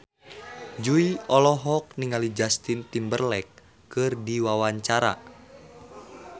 Jui olohok ningali Justin Timberlake keur diwawancara